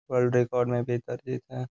World record में भी एक अर्जित है।